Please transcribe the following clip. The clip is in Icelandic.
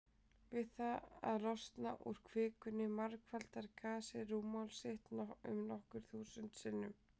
Við það að losna úr kvikunni margfaldar gasið rúmmál sitt nokkur þúsund sinnum.